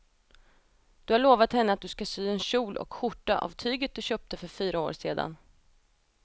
Du har lovat henne att du ska sy en kjol och skjorta av tyget du köpte för fyra år sedan.